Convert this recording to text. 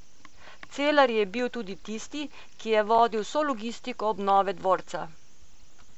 Celar je bil tudi tisti, ki je vodil vso logistiko obnove dvorca.